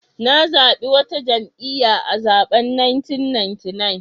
Na zabi wata jam'iyya a zaben 1999.